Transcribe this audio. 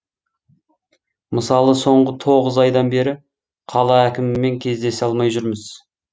мысалы соңғы тоғыз айдан бері қала әкімімен кездесе алмай жүрміз